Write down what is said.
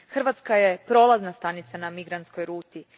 Hrvatska je prolazna stanica na migrantskoj ruti.